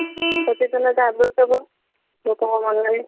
ସଚେତନତା ଆବଶ୍ୟକ ଲୋକ ଙ୍କ ମନ ରେ।